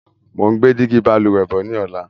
Mo ń gbé dígí Balùwẹ́ bọ̀ ni ọ̀la.